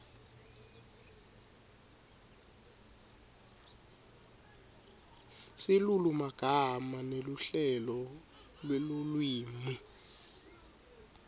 silulumagama neluhlelo lwelulwimi